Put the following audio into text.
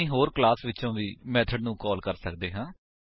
ਅਸੀ ਹੋਰ ਕਲਾਸ ਵਿਚੋ ਵੀ ਮੇਥਡ ਨੂੰ ਕਾਲ ਕਰ ਸੱਕਦੇ ਹਾਂ